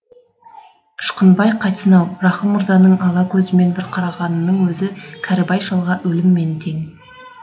ышқынбай қайтсын ау рақым мырзаның ала көзімен бір қарағанының өзі кәрібай шалға өліммен тең